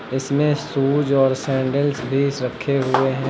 इसमें शूज और सैंडल्स भी रखे हुए हैं।